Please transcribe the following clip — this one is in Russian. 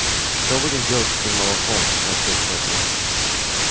что будем делать с этим молоком спросил кто-то